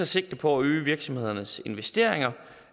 sigte på at øge virksomhedernes investeringer